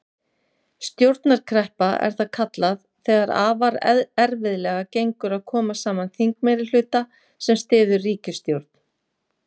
Stjórnarkreppa er það kallað þegar afar erfiðlega gengur að koma saman þingmeirihluta sem styður ríkisstjórn.